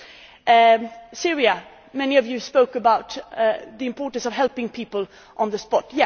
On Syria, lots of you spoke about the importance of helping people on the spot.